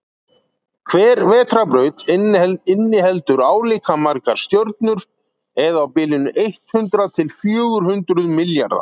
hver vetrarbraut inniheldur álíka margar stjörnur eða á bilinu eitt hundruð til fjögur hundruð milljarða